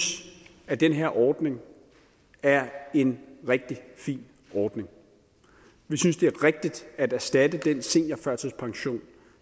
at den her ordning er en rigtig fin ordning vi synes det er rigtigt at erstatte den seniorførtidspension